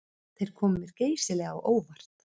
Þeir komu mér geysilega á óvart